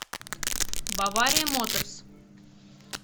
бавария моторс